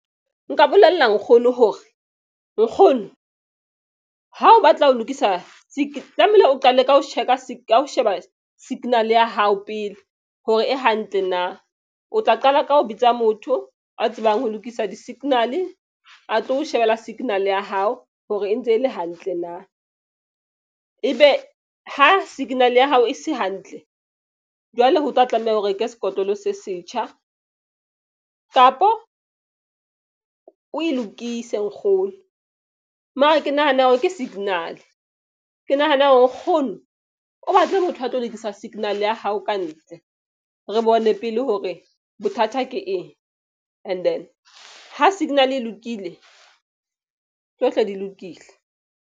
Nka bolella nkgono hore nkgono ha o batla ho lokisa tlamehile o qale ka ho check-a ka ho sheba signal-e ya hao pele hore e hantle na. O tla qala ka ho bitsa motho a tsebang ho lokisa di-signal-e, a tlo shebella signal-e ya hao hore e ntse e le hantle na. Ebe ha signal-e ya hao e se hantle, jwale ho tla tlameha o reke sekotlolo se setjha kapo o e lokise nkgono. Mara ke nahana hore ke signal-e. Ke nahana hore nkgono o batle motho a tlo lokisa signal-e ya hao ka ntle. Re bone pele hore bothata ke eng, and then ha signal-e e lokile tsohle di lokile.